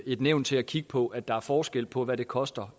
et nævn til at kigge på at der er forskel på hvad det koster